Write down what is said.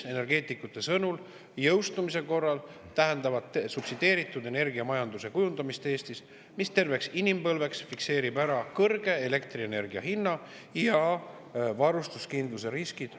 Energeetikute sõnul tähendavad jõustumise korral Eestis subsideeritud energiamajanduse kujundamist, mis fikseerib terveks inimpõlveks elektrienergia kõrge hinna ja varustuskindluse riskid.